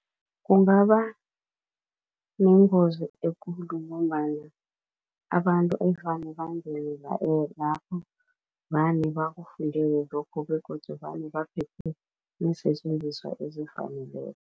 Kungaba nengozi ekulu ngombana abantu evane bangene lapho vane bakufundele lokho begodu vane baphethe iinsetjenziswa ezifaneleko.